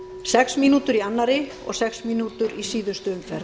sex mínútur í annarri og sex mínútur í síðustu umferð